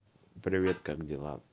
привет как дела